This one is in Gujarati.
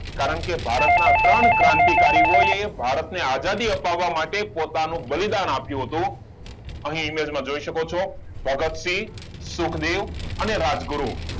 કારણ કે ભારત ના ત્રણ ક્રાંતિકારીઓએ ભારત ને આઝાદી આપવા માટે પોતાનું બલિદાન આપ્યું હતું અહીં image જોય શકો છો ભગતસિંહ, સુખદેવ અને રાજગુરુ